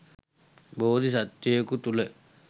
බෝධි සත්වයකු තුළ